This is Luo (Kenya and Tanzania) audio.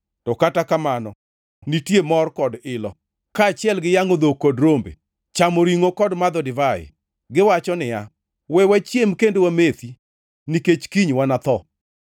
To kata kamano nitie mor kod ilo, kaachiel gi yangʼo dhok kod rombe, chamo ringʼo kod madho divai! Giwacho niya, “We wachiem kendo wamethi nikech kiny wanatho!”